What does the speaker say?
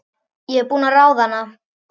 Ég er búin að ráða hana!